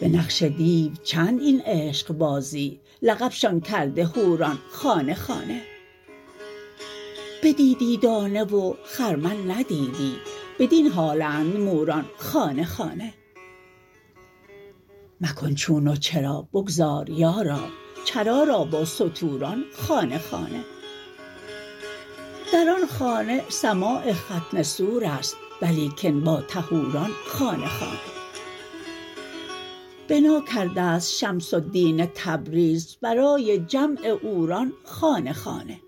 به نقش دیو چند این عشقبازی لقبشان کرده حوران خانه خانه بدیدی دانه و خرمن ندیدی بدین حالند موران خانه خانه مکن چون و چرا بگذار یارا چرا را با ستوران خانه خانه در آن خانه سماع ختنه سور است ولیکن با طهوران خانه خانه بنا کرده ست شمس الدین تبریز برای جمع عوران خانه خانه